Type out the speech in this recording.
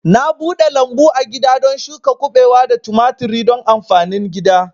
Na bude lambu agida don shuka kubewa da tumaturi don amfanin gida